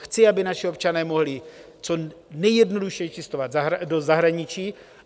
Chci, aby naši občané mohli co nejjednodušeji cestovat do zahraničí.